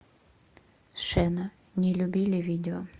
шена не любили видео